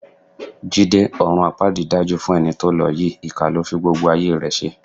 Jídé, ọ̀run àpáàdì dájú fún ẹni tó lọ yìí, ìkà ló fi gbogbo ayé rẹ ṣe.